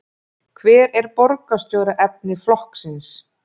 Hver er borgarstjóraefni flokksins?